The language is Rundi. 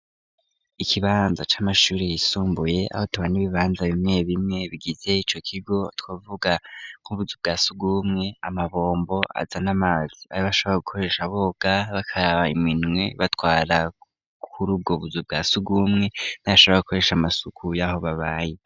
Ikibanza c'amashuri yisumbuye aho tubana ibibanza bimwe bimwe bigize ico kigo twavuga nk'ubuzu bwasugumwe amabombo aza n'amazi ayo bashobora gukoresha aboga bakaraba iminwe batwara kuri ubwo buzu bwa sugumwe ntibashoborka gukoresha amasuku y'aho babaye.